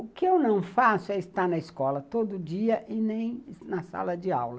O que eu não faço é estar na escola todo dia e nem na sala de aula.